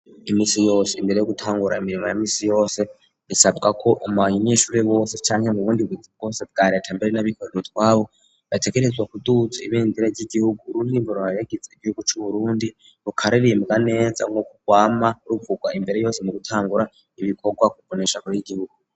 Imisi yose imbere yo gutangura imirimo ya misi yose bisabwako mu banyeshure bose canke mu bundi buzi bwose bwa reta, mbere n'abikorera utwabo bategerezwa kuduza ibendera ry'igihugu, ururirimbo ruhayagiza igihugu c'uburundi rukaririmbwa neza nkuko rwama ruvurwa imbere hose mu gutangura ibikorwa ku mboneshakure y'igihugu.